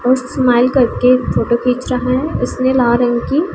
वो स्माइल करके फोटो खींच रहा है इसने लाल रंग की--